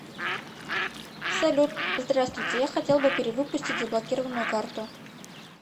салют здравствуйте я хотел бы перевыпустить заблокированную карту